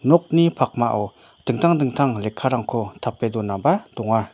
nokni pakmao dingtang dingtang lekkarangko tape donaba donga.